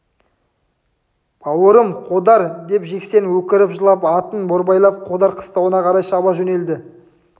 бауырым қодар деп жексен өкіріп жылап атын борбайлап қодар қыстауына қарай шаба жөнелді